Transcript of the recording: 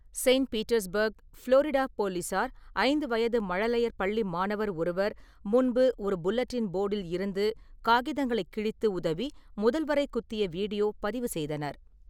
Saint Petersburg, Florida போலீசார் ஐந்து வயது மழலையர் பள்ளி மாணவர் ஒருவர் முன்பு ஒரு புல்லட்டின் போடில் இருந்து காகிதங்களை கிழித்து உதவி முதல்வரை குத்திய வீடியோ பதிவு செய்தனர்.